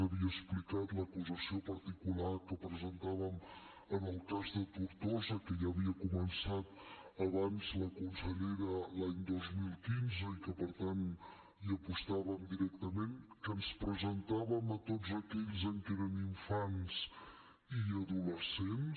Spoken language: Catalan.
havia explicat l’acusació particular que presentàvem en el cas de tortosa que ja havia començat abans la consellera l’any dos mil quinze i que per tant hi apostàvem directament que ens presentàvem a tots aquells en què eren infants i adolescents